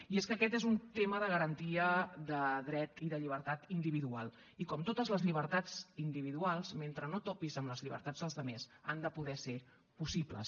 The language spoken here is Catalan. i és que aquest és un tema de garantia de dret i de llibertat individual i com totes les llibertats individuals mentre no topis amb les llibertats dels altres han de poder ser possibles